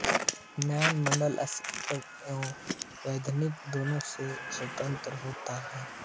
न्याय मण्डल शासकीय एवं वैधानिक दोनो से स्वतंत्र होता है